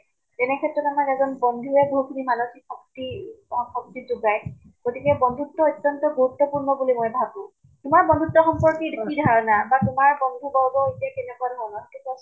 তেনে ক্ষেত্ৰত আমাৰ এজন বন্ধুয়ে বহুত খিনি মানসিক শক্তি বা শক্তি যোগায়। গতিকে বন্ধুত্ব ঐতন্ত্য় গুৰুত্ব্পূৰ্ণ বুলি মই ভাবো। তোমাৰ বন্ধুত্ব সম্পৰ্কে কি ধাৰণা বা তোমাৰ বন্ধু বৰ্গৰ ৰূপে কেনেকুৱা ধাৰণা কোৱাচোন।